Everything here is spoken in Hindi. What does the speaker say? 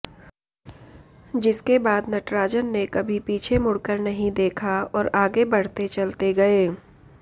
जिसके बाद नटराजन ने कभी पीछे मुड़कर नहीं देखा और आगे बढ़ते चलते गए